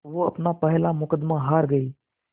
वो अपना पहला मुक़दमा हार गए